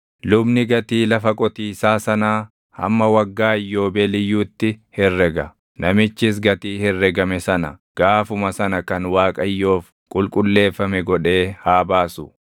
lubni gatii lafa qotiisaa sanaa hamma Waggaa Iyyoobeeliyyuutti herrega; namichis gatii herregame sana gaafuma sana kan Waaqayyoof qulqulleeffame godhee haa baasu.